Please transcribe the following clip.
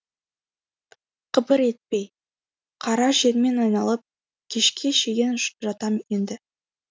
қыбыр етпей қара жермен айналып кешке шейін жатам енді